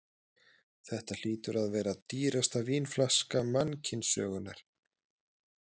Þetta hlýtur að vera dýrasta vínflaska mannkynssögunnar.